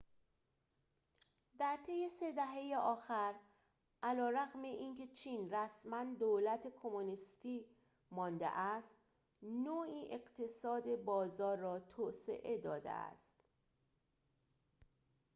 در طی سه دهه آخر علیرغم اینکه چین رسماً دولت کمونیستی مانده است نوعی اقتصاد بازار را توسعه داده است